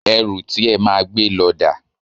Ẹrù ti e máa gbé lọ dà?